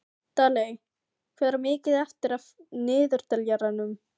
Daley, hvað er mikið eftir af niðurteljaranum?